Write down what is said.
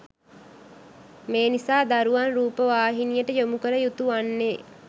මේ නිසා දරුවන් රූපවාහිනියට යොමු කළ යුතු වන්නේ